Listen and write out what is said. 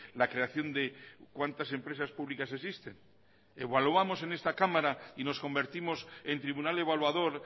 la creación de cuantas empresas públicas existen evaluamos en esta cámara y nos convertimos en tribunal evaluador